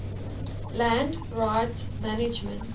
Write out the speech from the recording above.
land rights management